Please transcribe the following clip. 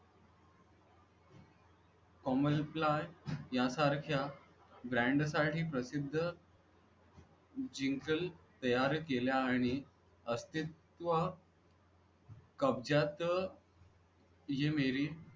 आहे या सारख्या brand साठी प्रसिद्ध जिंगल तयार केल्या आणि अस्तित्व कब्जात